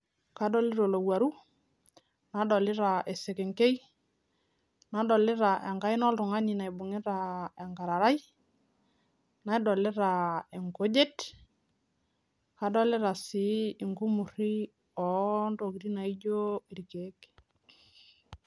Kadolita olowaru, nadolita esekenkei, nadolita enkaina oltungani naibungita enkararai, nadolita irkujit , nadolita sii enkumurui oo tokitin naijo ilrkiek.